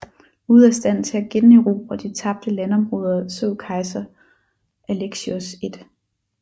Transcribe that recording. Ude af stand til at generobre de tabte landområder så kejser Alexios 1